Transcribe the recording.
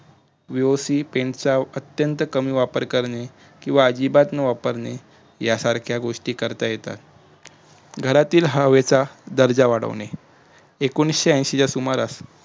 vivo si pen चा अत्यंत कमी वापर करणे किंवा अजिबात न वापरणे यासारख्या गोष्टी करता येतात घरातील हवेचा दर्जा वाढवणे एकोणयशी च्या सुमारास